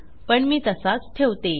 पण मी तसाच ठेवतो